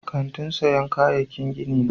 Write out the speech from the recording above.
Kantin siyan kayaki gini ne.